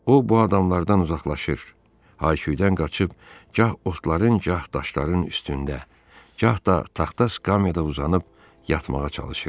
O, bu adamlardan uzaqlaşır, hay-küydən qaçıb gah otların, gah daşların üstündə, gah da taxta skamyada uzanıb yatmağa çalışırdı.